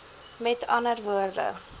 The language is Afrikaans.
m a w